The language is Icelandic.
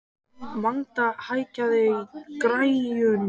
Magda, hækkaðu í græjunum.